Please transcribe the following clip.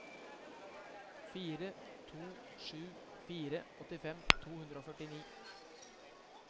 fire to sju fire åttifem to hundre og førtini